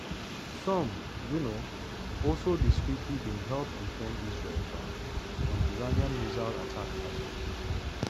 some um also – discreetly – bin help defend israel um from iranian missile attack last year.